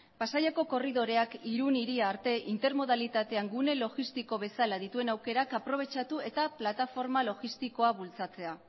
pasaiako korridoreak irun hiri arte intermodalitatean gune logistiko bezala dituen aukerak aprobetxatu eta plataforma logistikoa bultzatzea